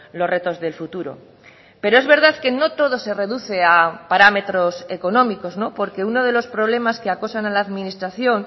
los retos del futuro pero es verdad que no todo se reduce a parámetros económicos porque uno de los problemas que acosan a la administración